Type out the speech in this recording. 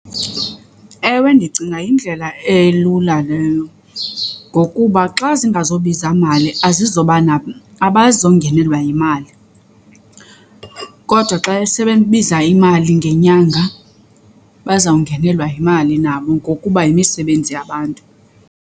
Ewe, ndicinga yindlela elula leyo ngokuba xa zingazobiza mali azizoba abazongenelwa yimali. Kodwa xa esebembiza imali ngenyanga bazawungenelwa yimali nabo ngokuba yimisebenzi yabantu.